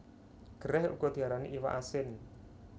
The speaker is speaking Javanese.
Gerèh uga diarani iwak asin